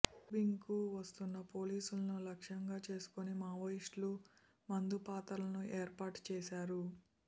combing కు వస్తున్న పోలీసులను లక్ష్యంగా చేసుకొని మావోయిస్టులు మందు పాతరలను ఏర్పాటు చేశారు